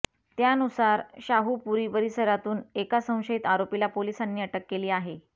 त्यानुसार शाहुपुरी परिसरातून एका संशयित आरोपीला पोलिसांनी अटक केली आहे